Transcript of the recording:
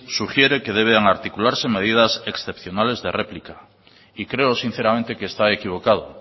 sugiere que deben articularse medidas excepcionales de réplica y creo sinceramente que está equivocado